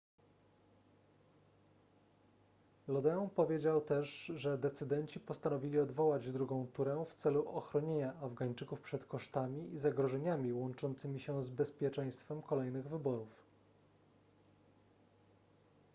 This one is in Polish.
lodin powiedział też że decydenci postanowili odwołać drugą turę w celu ochronienia afgańczyków przed kosztami i zagrożeniami łączącymi się z bezpieczeństwem kolejnych wyborów